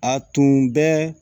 A tun bɛ